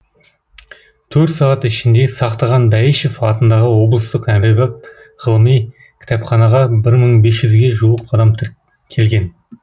төрт сағат ішінде сақтаған бәйішев атындағы облыстық әмбебап ғылыми кітапханаға бір мың бес жүзге жуық адам келген